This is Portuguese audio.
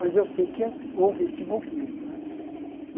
Mas eu sei que houve esse movimento, né?